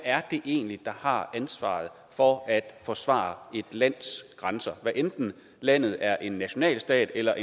det egentlig er der har ansvaret for at forsvare et lands grænser hvad enten landet er en nationalstat eller